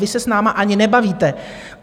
Vy se s námi ani nebavíte.